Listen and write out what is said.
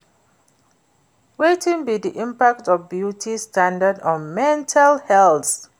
Wetin be di impact of beauty standards on mental health?